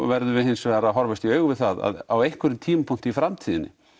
verðum við hins vegar að horfast í augu við það að á einhverjum tímapunkti í framtíðinni